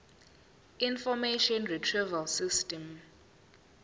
information retrieval system